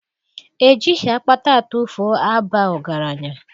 Ejighị akpata atụfuo aba ọgaranya